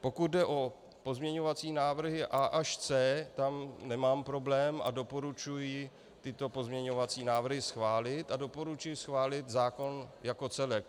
Pokud jde o pozměňovací návrhy A až C, tam nemám problém a doporučuji tyto pozměňovací návrhy schválit a doporučuji schválit zákon jako celek.